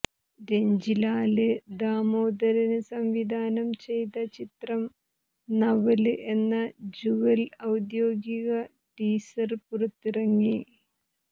രഞ്ജിലാല് ദാമോദരന് സംവിധാനം ചെയ്ത ചിത്രം നവല് എന്ന ജുവല് ഔദ്യോഗിക ടീസര് പുറത്തിറങ്ങി